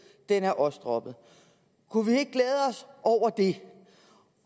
den er også droppet kunne vi ikke glæde os over det